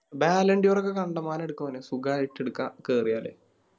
volunteer ഒക്കെ കണ്ടമാനം എടുക്കും അവനെ സുഖായിട്ടെടുക്ക കേറിയാല്